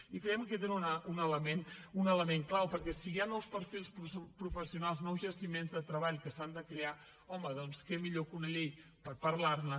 i creiem que tenen un element clau perquè si hi ha nous perfils professionals nous jaciments de treball que s’han de crear home doncs què millor que una llei per parlar ne